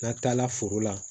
N'an taala foro la